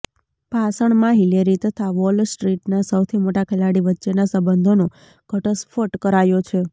ભાષણમાં હિલેરી તથા વોલ સ્ટ્ર્રીટના સૌથી મોટા ખેલાડી વચ્ચેના સંબંધોનો ઘટસ્ફોટ કરાયો છે